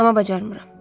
Amma bacarmıram.